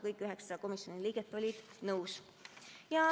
Kõik 9 komisjoni liiget olid nõus.